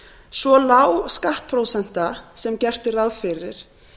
svo lág skattprósenta sem gert er ráð fyrir